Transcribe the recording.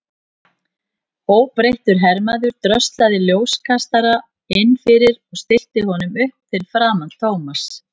Óbreyttur hermaður dröslaði ljóskastara inn fyrir og stillti honum upp fyrir framan Thomas.